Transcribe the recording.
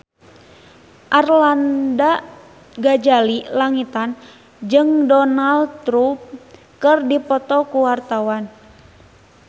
Arlanda Ghazali Langitan jeung Donald Trump keur dipoto ku wartawan